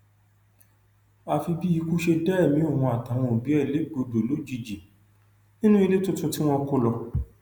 àfi bí ikú ṣe dá ẹmí òun àtàwọn òbí ẹ légbodò lójijì nínú ilé tuntun tí wọn kò lọ